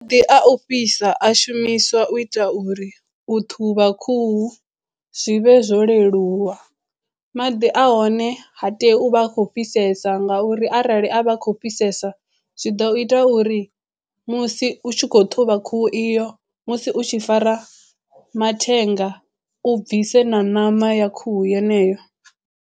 Ndi a u fhisa a shumiswa u ita uri u ṱhuvha khuhu zwi vhe zwo leluwa maḓi a hone ha tei u vha a khou fhisesa nga uri arali a vha khou fhisesa zwi ḓo ita uri musi u tshi khou ṱhuvha khuhu iyo musi u tshi fara mathenga u bvise na ṋama ya khuhu yeneyo.